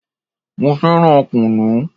Mo fẹ́ràn kunu